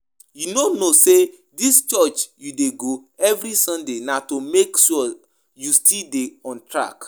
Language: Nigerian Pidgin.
You no know say dis church you dey go every sunday na to make sure you still dey on track